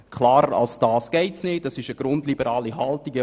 Klarer als das geht es nicht, und das ist eine grundliberale Haltung.